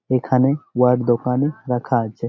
এখানে উহার দোকানে রাখা আছে।